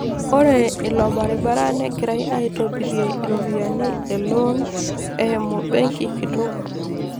Ore ilo baribara negirai aitobirie iropiyiani e loan eimu Benki kitok.